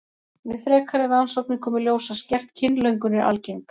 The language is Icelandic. Við frekari rannsóknir kom í ljós að skert kynlöngun er algeng.